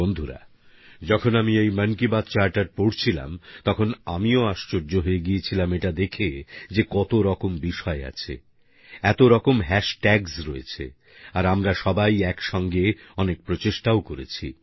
বন্ধুরা যখন আমি এই মন কি বাত চার্টার পড়ছিলাম তখন আমিও আশ্চর্য হয়ে গিয়েছিলাম এটা দেখে যে কত রকম বিষয় আছে এত রকম হাশ ট্যাগস রয়েছে আর আমরা সবাই একসাথে অনেক প্রচেষ্টাও করেছি